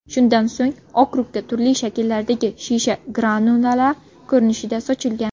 Shundan so‘ng okrugga turli shakllardagi shisha granulalar ko‘rinishida sochilgan.